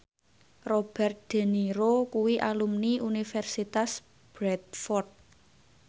Robert de Niro kuwi alumni Universitas Bradford